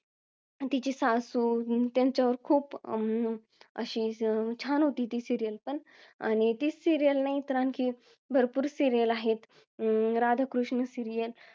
तिची सासू त्यांचं खूप अं असं खूप छान होती ती serial पण आणि तीच serial नाही तर आणखी भरपूर serial आहे राधाकृष्ण सिरीयल